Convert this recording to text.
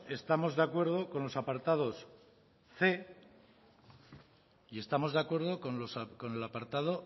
estamos de acuerdo con los apartados cien y estamos de acuerdo con el apartado